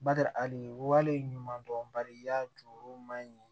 Bada hali wale ɲuman dɔn bari a ju man ɲi